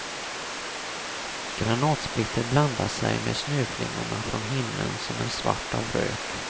Granatsplitter blandar sig med snöflingorna från himlen som är svart av rök.